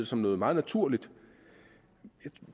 som noget meget naturligt